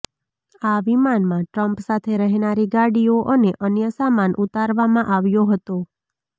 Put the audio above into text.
આ વિમાનમાં ટ્રમ્પ સાથે રહેનારી ગાડીઓ અને અન્ય સામાન ઉતારવામાં આવ્યો હતો